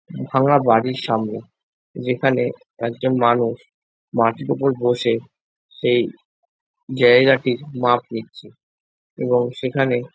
ভাঙা বাড়ির সামনে যেখানে একজন মানুষ মাটির উপর বসে সেই জায়গাটির মাপ নিচ্ছে এবং সেখানে--